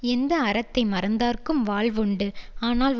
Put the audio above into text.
எந்த அறத்தை மறந்தார்க்கும் வாழ்வு உண்டு ஆனால்